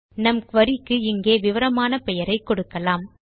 நம் குரி க்கு இங்கு விவரமான பெயரை கொடுக்கலாம்